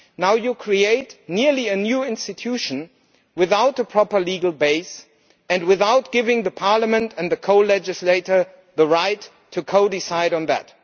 Now you create what is almost a new institution without a proper legal base and without giving Parliament and the co legislator the right to co decide on that.